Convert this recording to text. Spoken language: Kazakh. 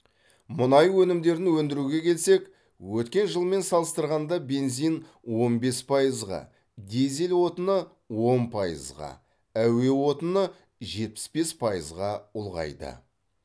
мұнай өнімдерін өндіруге келсек өткен жылмен салыстырғанда бензин он бес пайызға дизель отыны он пайызға әуе отыны жетпіс бес пайызға ұлғайды